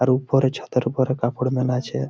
আর উপরে ছাদের উপরে কাপড় মেলা আছে।